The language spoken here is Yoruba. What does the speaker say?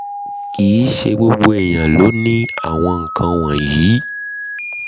kì í ṣe gbogbo ènìyàn ló ní àwọn nkan wọ̀nyí